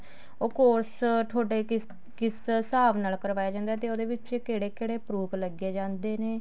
ਉਹ course ਥੋਡੇ ਕਿਸੇ ਕਿਸ ਹਿਸਾਬ ਨਾਲ ਕਰਵਾਇਆ ਜਾਂਦਾ ਤੇ ਉਹਦੇ ਵਿੱਚ ਕਹਿੜੇ ਕਹਿੜੇ proof ਲੱਗੇ ਜਾਂਦੇ ਨੇ